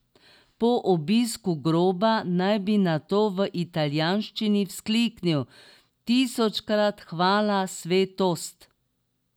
Po obisku groba naj bi nato v italijanščini vzkliknil: 'Tisočkrat hvala svetost!